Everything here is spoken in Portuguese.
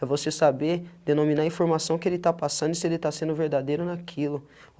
É você saber denominar a informação que ele tá passando e se ele tá sendo verdadeiro naquilo.